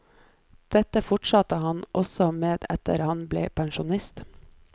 Dette fortsatte han også med etter at han ble pensjonist.